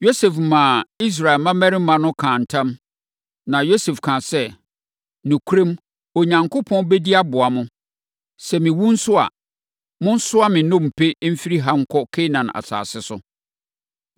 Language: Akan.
Yosef maa Israel mmammarima no kaa ntam, na Yosef kaa sɛ, “Nokorɛm, Onyankopɔn bɛdi aboa mo. Sɛ mewu nso a, monsoa me nnompe mfiri ha nkɔ Kanaan asase so.”